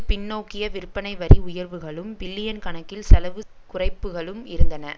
பின்னோக்கிய விற்பனைவரி உயர்வுகளும் பில்லியன் கணக்கில் செலவு குறைப்புக்களும் இருந்தன